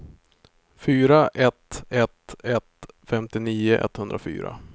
fyra ett ett ett femtionio etthundrafyra